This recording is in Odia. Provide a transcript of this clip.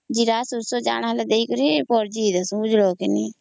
ଜୀରା ସୋରିଷ ଦେଇକରି କରିବୁ ସେ